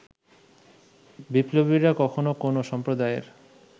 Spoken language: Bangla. বিপ্লবীরা কখনো কোনো সম্প্রদায়ের